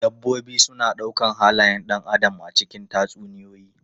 Dabbobi suna ɗaukar halayen ɗan adam a cikin tatsuniyoyi.